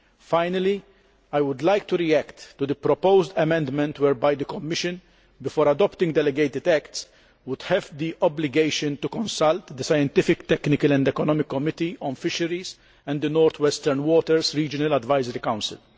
Finally, I would like to react to the proposed amendment whereby the Commission, before adopting delegated acts, would have the obligation to consult the Scientific, Technical, and Economic Committee on Fisheries and the North Western Waters Regional Advisory Council.